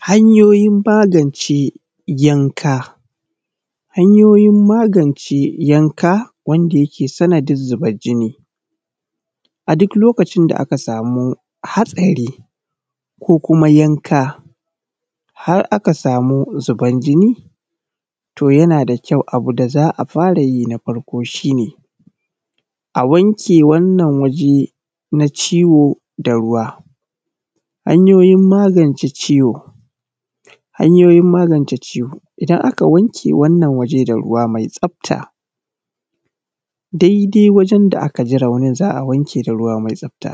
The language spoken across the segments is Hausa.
Hanyoyin magance yanka. Hanyoyin magance yanka wanda yake sanadin zubar jini. A duk lokacin da aka samu hatsari ko kuma yanka, har aka samu zubar jini, to yana da kyau abu da za a fara yi na farko shi ne, a wanke wannan waje na ciwo da ruwa. Hanyoyin magance ciwo. Hanyoyin magance ciwo, idan aka wanke wannan waje da ruwa mai tsabta, daidai wajen da aka ji raunin za a wanke da ruwa mai tsabta.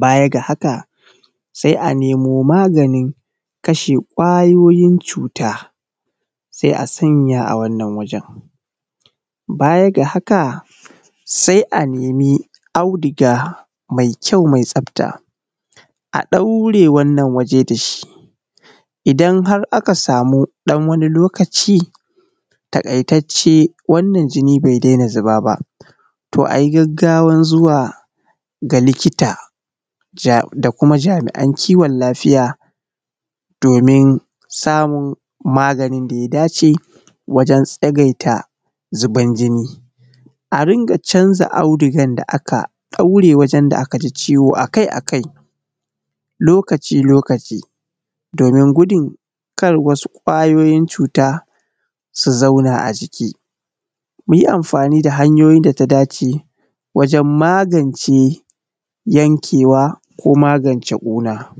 Baya ga haka, sai a nemo maganin kashe ƙwayoyin cuta, sai a sanya a wannan wajen. Baya ga haka, sai a nemi auduga mai kyau mai tsabta, a ɗaure wannan waje da shi. Idan har aka samu wani ɗan lokaci, taƙaitacce, wannan jini bai daina zuba ba, to a yi gaggawan zuwa ga likita da kuma jami’an kiwon lafiya domin samun maganin da ya dace wajen tsagaita zuban jini. A ringa canza audugar da aka ɗaure wajen da aka ji ciwo a kai-a kai, lokaci-lokaci domin gudun kar wasu ƙwayoyin cuta su zauna a jiki. Mu yi amfani da hanyoyin da ta dace wajen magance yankewa, ko magance ƙuna.